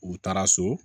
U taara so